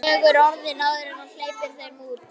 Vegur orðin áður en hann hleypir þeim út.